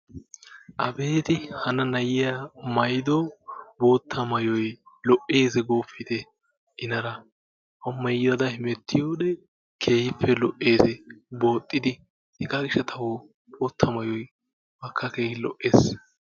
abeeti hanna na'iyaa mayyido bootta mayyoyi lo"eesi gooppite! inaara keehippe lo"eesi booxxidi. hegaa gishshatawu bootta mayyoyi ubbakka keehi lo'ees.